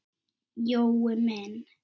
Jói minn.